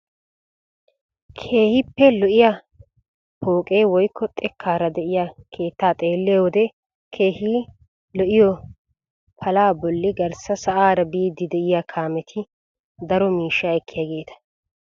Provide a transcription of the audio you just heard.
keehippe xoqqa pooqe woykko xekkaara de'iyaa keettaa xeelliyoo wode keehi lo'iyoo palaa bolli garssa sa'aara biidi de'iyaa kaameti daro miishshaa ekkiyaageta.